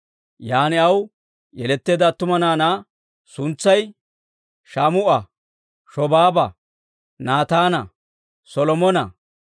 Yan aw yeletteedda attuma naanaa suntsay Shaamu'a, Shobaaba, Naataana, Solomona,